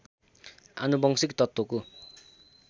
आनुवंशिक तत्त्वको